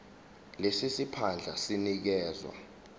lesi siphandla sinikezwa